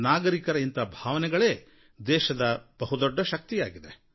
ನಾಗರಿಕರ ಇಂಥ ಭಾವನೆಗಳೇ ದೇಶದ ಬಹುದೊಡ್ಡ ಶಕ್ತಿಯಾಗಿದೆ